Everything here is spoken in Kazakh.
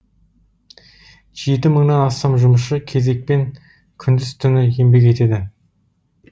жеті мыңнан астам жұмысшы кезекпен күндіз түні еңбек етеді